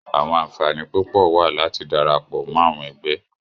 Awọn anfani pupọ wa lati darapọ mọ awọn ẹgbẹ.